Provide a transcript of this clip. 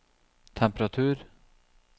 temperatur